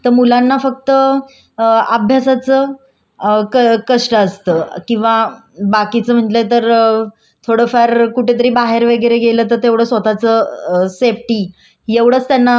थोडं फार कुठेतरी बाहेर वगैरे गेलं तर तेवढे स्वतःच सेफ्टी एवढंच त्यांना कष्ट करावे लागत नाही तर प्रत्येकाला आपापल्या जबाबदाऱ्यानुसार कष्ट करावे लागत.